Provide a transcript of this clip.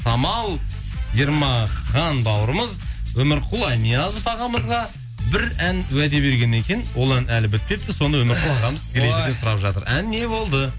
самал ермахан бауырымыз өмірқұл анязов ағамызға бір ән уәде берген екен ол ән әлі бітпепті ән не болды